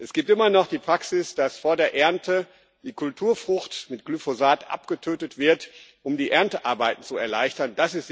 Es gibt immer noch die Praxis, dass vor der Ernte die Kulturfrucht mit Glyphosat abgetötet wird, um die Erntearbeit zu erleichtern.